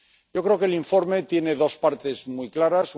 Yo creo que el informe tiene dos partes muy claras.